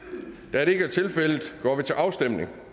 da det ikke er tilfældet går vi til afstemning